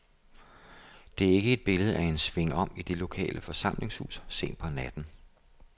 Det er ikke et billede af en svingom i det lokale forsamlingshus sent på natten.